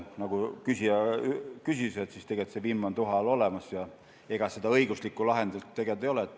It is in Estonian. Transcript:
Nagu küsija ütles, siis tegelikult see vimm on tuha all olemas ja ega seda õiguslikku lahendit tegelikult ei ole.